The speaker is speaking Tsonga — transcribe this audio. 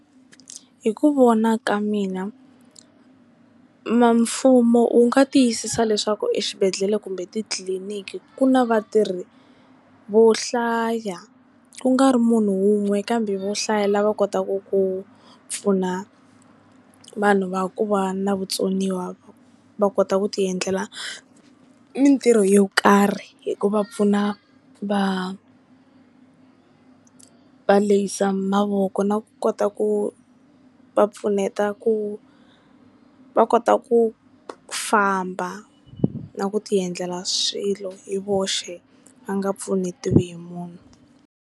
Hi ku vona ka mina, mfumo wu nga tiyisisa leswaku exibedhlele kumbe titliliniki ku na vatirhi vo hlaya, ku nga ri munhu wun'we kambe vo hlayela lava kotaku ku pfuna vanhu va ku va na vutsoniwa va kota ku ti endlela mintirho yo karhi, hi ku va pfuna va va lehisa mavoko na ku kota ku va pfuneta ku va kota ku famba na ku tiendlela swilo hi voxe va nga pfunetiwa hi munhu.